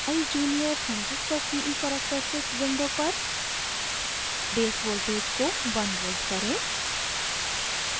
eyes junior: transistor ce characteristics window पर base voltage को 1 volt करें